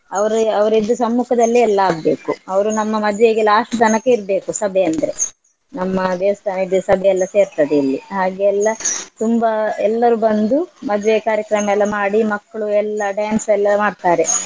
ಅವ್ರು ಅವ್ರ ಇದ್ದ ಸಮ್ಮುಖದಲ್ಲೇ ಎಲ್ಲಾ ಆಗ್ಬೇಕು ಅವ್ರು ನಮ್ಮ ಮದ್ವೆಗೆ last ತನಕ ಇರ್ಬೇಕು ಸಭೆ ಅಂದ್ರೆ. ನಮ್ಮ ದೇವಸ್ಥಾನದ್ದು ಸಭೆಯೆಲ್ಲ ಸೇರ್ತದೆ ಇಲ್ಲಿ ಹಾಗೇ ಎಲ್ಲಾ ತುಂಬಾ ಎಲ್ಲರೂ ಬಂದು ಮದ್ವೆ ಕಾರ್ಯಕ್ರಮ ಎಲ್ಲ ಮಾಡಿ ಮಕ್ಳು ಎಲ್ಲ dance ಎಲ್ಲ ಮಾಡ್ತಾರೆ.